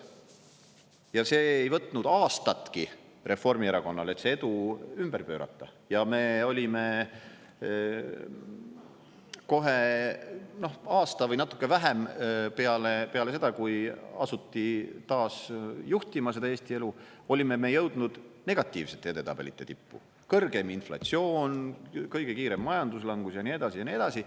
Ja see ei võtnud aastatki Reformierakonnal, et see edu ümber pöörata, ja me olime kohe aasta või natuke vähem peale seda, kui asuti taas juhtima seda Eesti elu, olime me jõudnud negatiivsete edetabelite tippu: kõrgeim inflatsioon, kõige kiirem majanduslangus ja nii edasi ja nii edasi.